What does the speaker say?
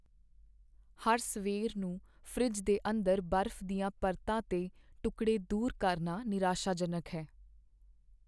ਹਰ ਸਵੇਰ ਨੂੰ ਫਰਿੱਜ ਦੇ ਅੰਦਰ ਬਰਫ਼ ਦੀਆਂ ਪਰਤਾਂ 'ਤੇ ਟੁਕੜੇ ਦੂਰ ਕਰਨਾ ਨਿਰਾਸ਼ਾਜਨਕ ਹੈ।